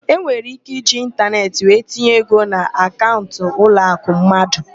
Enwere íké iji ịntaneetị wee tinye ego na akaụnt ụlọakụ mmadụ.